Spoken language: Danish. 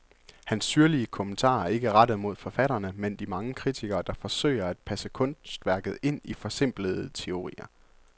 Hans syrlige kommentarer er ikke rettet mod forfatterne, men de mange kritikere, der forsøger at passe kunstværket ind i forsimplende teorier.